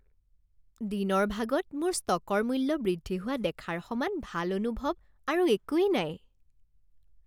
দিনৰ ভাগত মোৰ ষ্টকৰ মূল্য বৃদ্ধি হোৱা দেখাৰ সমান ভাল অনুভৱ আৰু একোৱেই নাই